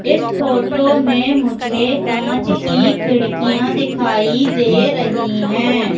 इस फोटो में मुझे कांच की खिड़कियां दिखाई दे रही है।